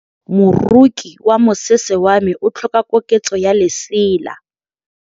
Moroki wa mosese wa me o tlhoka koketsô ya lesela.